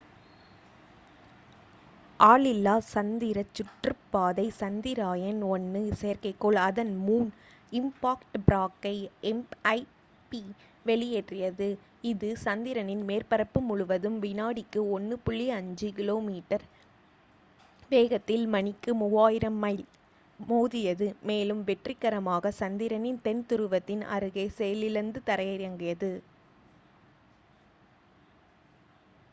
ஆளில்லா சந்திர சுற்றுப்பாதை சந்திரயான் -1 செயற்கைக்கோள் அதன் மூன் இம்பாக்ட் ப்ரோப்பை எம்ஐபி வெளியேற்றியது இது சந்திரனின் மேற்பரப்பு முழுவதும் வினாடிக்கு 1.5 கிலோமீட்டர் வேகத்தில் மணிக்கு 3000 மைல் மோதியது மேலும் வெற்றிகரமாக சந்திரனின் தென் துருவத்தின் அருகே செயலிழந்து தரையிறங்கியது